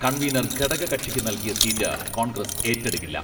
Convener ഘടകകക്ഷിക്ക് നൽകിയ seat Congress ഏറ്റെടുക്കില്ല.